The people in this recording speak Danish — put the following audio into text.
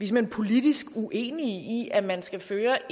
hen politisk uenige i at man skal føre